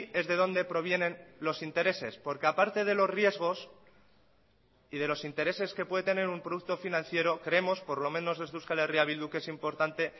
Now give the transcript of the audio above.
es de donde provienen los intereses porque aparte de los riesgos y de los intereses que puede tener un producto financiero creemos por lo menos desde euskal herria bildu que es importante